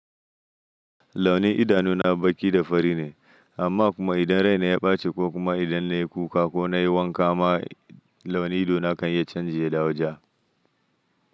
Launin idanu na baki da fari ne, amma kuma idan rai na ya ɓace ko kuma idan na yi kuka ko na yi wanka ma launi idona kan ya canji ya dawo ja.